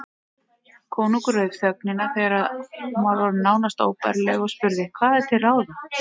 Konungur rauf þögnina þegar hún var orðin nánast óbærileg og spurði:-Hvað er til ráða?